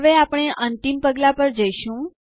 હવે અમને અંતિમ પગલું જાઓ